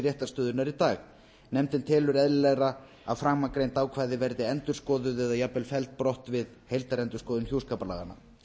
réttarstöðunnar í dag nefndin telur eðlilegra að framangreind ákvæði verði endurskoðuð eða jafnvel felld brott við heildarendurskoðun hjúskaparlaganna